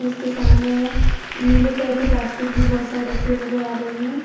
के सामने में नीले कलर के प्लास्टिक भी बोहोत सारी रखी हुई नजर आ रहे हैं।